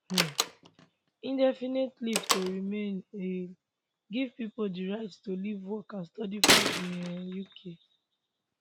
um indefinite leave to remain ilr give pipo di right to live work and study for di um uk